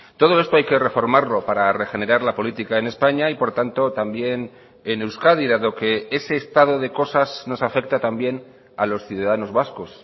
todo esto hay que reformarlo para regenerar la política en españa y por tanto también en euskadi dado que ese estado de cosas nos afecta también a los ciudadanos vascos